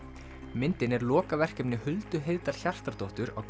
myndin er lokaverkefni Huldu Heiðdal Hjartardóttur á